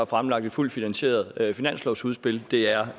fremlagt et fuldt finansieret finanslovsudspil det er